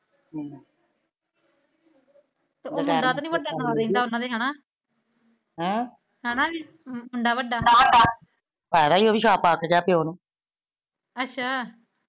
ਉਹ ਮੁੰਡਾ ਤੇ ਨਹੀਂ ਵੱਡਾ ਨਾਲ਼ ਰਹਿੰਦਾ ਉਹਨਾਂ ਦੇ ਹੈਨਾ ਹੈਨਾ , ਮੁੰਡਾ ਵੱਡਾ ਅੱਛਾ।